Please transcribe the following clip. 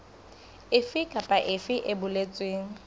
efe kapa efe e boletsweng